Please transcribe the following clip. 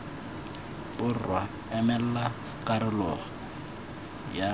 borwa emela karolo yay bofelo